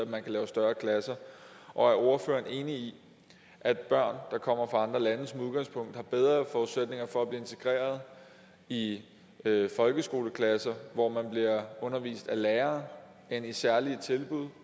man kan lave større klasser og er ordføreren enig i at børn der kommer fra andre lande som udgangspunkt har bedre forudsætninger for at blive integreret i folkeskoleklasser hvor man bliver undervist af lærere end i særlige tilbud